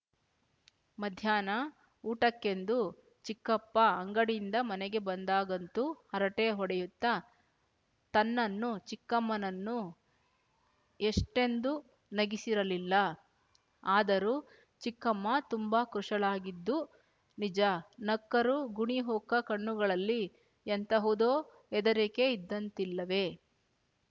ಮಧ್ಯಾಹ್ನ ಊಟಕ್ಕೆಂದು ಚಿಕ್ಕಪ್ಪ ಅಂಗಡಿಯಿಂದ ಮನೆಗೆ ಬಂದಾಗಂತೂ ಹರಟೆ ಹೊಡೆಯುತ್ತ ತನ್ನನ್ನೂ ಚಿಕ್ಕಮ್ಮನನ್ನೂ ಎಷ್ಟೆಂದು ನಗಿಸಿರಲಿಲ್ಲ ಆದರೂ ಚಿಕ್ಕಮ್ಮ ತುಂಬ ಕೃಶಳಾಗಿದ್ದು ನಿಜ ನಕ್ಕರೂ ಗುಣಿಹೊಕ್ಕ ಕಣ್ಣುಗಳಲ್ಲಿ ಎಂತಹುದೋ ಹೆದರಿಕೆ ಇದ್ದಂತಿಲ್ಲವೆ